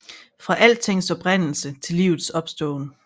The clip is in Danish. Fra altings oprindelse til livets opståen